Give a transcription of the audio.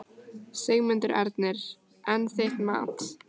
Sigmundur Ernir: En þitt mat?